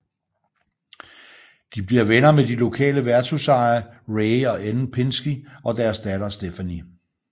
De bliver venner med de lokale værtshusejere Ray og Ellen Pinski og deres datter Stephanie